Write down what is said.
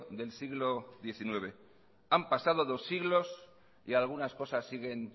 del siglo diecinueve han pasado dos siglos y algunas cosas siguen